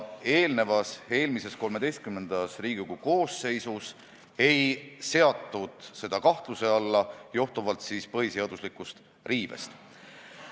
Eelmises, XIII Riigikogu koosseisus ei seatud seda kahtluse alla johtuvalt põhiseaduse riivest.